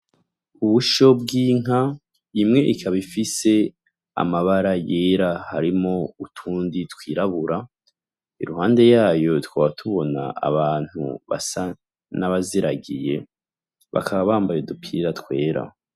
Ubusho bw'inka, imwe ikaba ifise amabara yera harimwo utundi twirabura. Iruhande yayo tukaba tubona abantu basa n'abaziragiye, bakaba bambaye udupira twera.